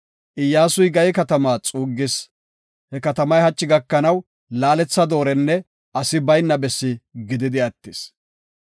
Iyyasuy Gaye katamaa xuuggis; he katamay hachi gakanaw laaletha doorenne asi baynna bessi gididi attis.